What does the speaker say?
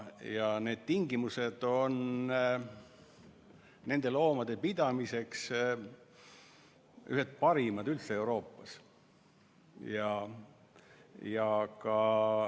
Ja tingimused nende loomade pidamiseks on ühed parimad kogu Euroopas.